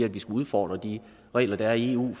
at vi skal udfordre de regler der er i eu